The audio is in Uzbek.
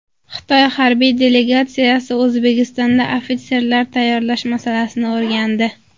Xitoy harbiy delegatsiyasi O‘zbekistonda ofitserlar tayyorlash masalasini o‘rgandi.